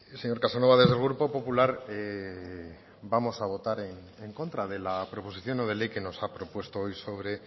señor casanova desde el grupo popular vamos a votar en contra de la proposición no de ley que nos ha propuesto hoy sobre